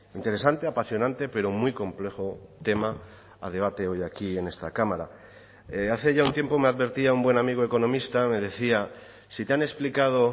interesante apasionante pero muy complejo tema a debate hoy aquí en esta cámara hace ya un tiempo me advertía un buen amigo economista me decía si te han explicado